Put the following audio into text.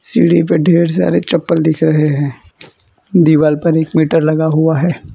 सीढ़ी पे ढेर सारे चप्पल दिख रहे हैं दीवाल पर एक मीटर लगा हुआ हैं।